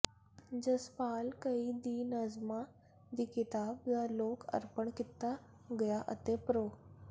ਜਸਪਾਲ ਘਈ ਦੀ ਨਜ਼ਮਾਂ ਦੀ ਕਿਤਾਬ ਦਾ ਲੋਕ ਅਰਪਣ ਕੀਤਾ ਗਿਆ ਅਤੇ ਪ੍ਰੋ